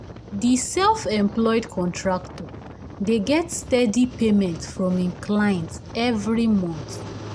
di self employed contractor dey get steady payment from im clients every month